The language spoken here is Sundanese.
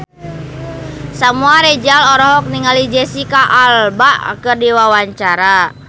Samuel Rizal olohok ningali Jesicca Alba keur diwawancara